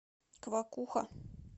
квакуха